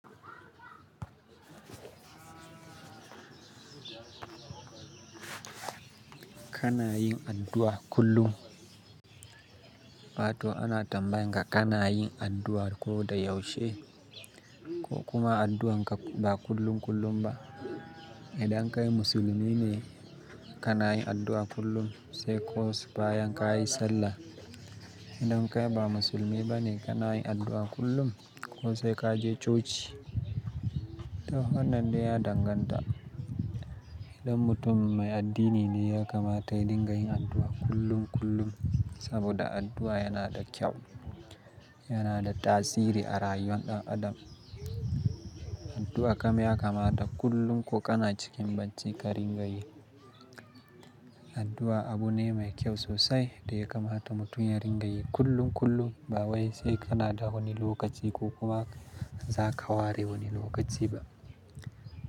Kana yin addu'a kullum, wato ana tambayanka kana yin addu'a ko da yaushe ko kuma addu'a ba kullum kullum ba. Idan kai musulmi ne kana yin addu'a kullum sai ko su baya kai sallah. Idan kai ba musulmi bane kana yin addu'a kullum ko sai ka je coci. To wannan dai ya danganta. Idan mutum mai addini ne ya kamata ya dinga yin addu'a kullum kullum saboda addu'a yana da kyau, yana da tasiri a rayuwar ɗan adam. Addu'a kam ya kamata kullum ko kana cikin bacci ka ringa yi. Addu'a abu ne mai kyau sosai dai kamata mutum ya ringa yi kullum kullum ba wai sai kana da wani lokaci ko kuma za ka ware wani lokaci ba.